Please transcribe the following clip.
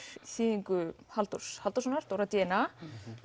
þýðingu Halldórs Halldórssonar Dóra d n a